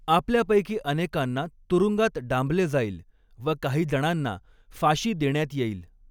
आपल्यापैकी अनेकांना तुरुंगात डांबले जाईल व काहीजणांना फाशी देण्यात येईल.